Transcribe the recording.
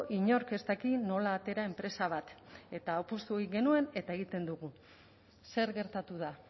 inork ez daki nola atera enpresa bat eta apostu egin genuen eta egiten dugu zer gertatu da